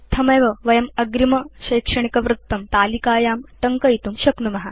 इत्थमेव वयम् अग्रिमशैक्षणिकवृत्तं तलिकायां टङ्कयितुं शक्नुम